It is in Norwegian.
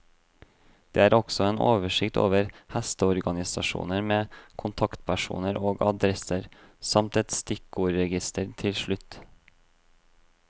Det er også en oversikt over hesteorganisasjoner med kontaktpersoner og adresser, samt et stikkordregister til slutt.